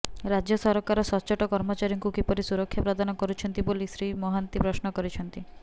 ରାଜ୍ୟ ସରକାର ସଚ୍ଚୋଟ କର୍ମଚାରୀଙ୍କୁ କିପରି ସୁରକ୍ଷା ପ୍ରଦାନ କରୁଛନ୍ତି ବୋଲି ଶ୍ରୀ ମହାନ୍ତି ପ୍ରଶ୍ନ କରିଛନ୍ତି